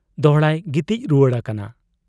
ᱫᱚᱦᱲᱟᱭ ᱜᱤᱛᱤᱡ ᱨᱩᱣᱟᱹᱲ ᱟᱠᱟᱱᱟ ᱾